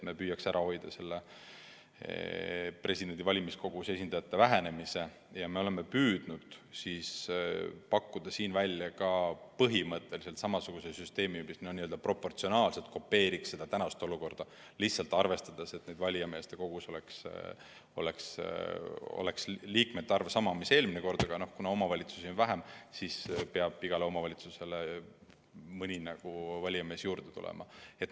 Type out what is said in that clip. Me püüame ära hoida presidendivalimistel valimiskogusse kuuluvate esindajate vähenemise ja oleme püüdnud pakkuda välja põhimõtteliselt samasuguse süsteemi, mis n‑ö proportsionaalselt kopeeriks tänast olukorda, nii et valijameeste kogus oleks liikmete arv sama, mis eelmine kord – kuna omavalitsusi on vähem, siis peab igale omavalitsusele mõni valijamees juurde tulema.